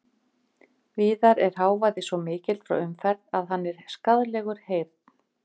Víðar er hávaði svo mikill frá umferð að hann er skaðlegur heyrn.